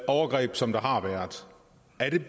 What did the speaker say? overgreb som der har været